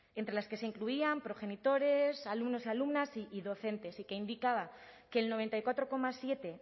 entre las que se incluían progenitores alumnos y alumnas y docentes y que indicaba que el noventa y cuatro coma siete